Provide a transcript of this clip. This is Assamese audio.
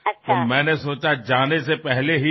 সেয়ে মই ভাবিলো যোৱাৰ আগেয়ে